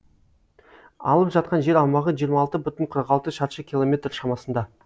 алып жатқан жер аумағы жиырма алты бүтін қырық алты шаршы километр шамасында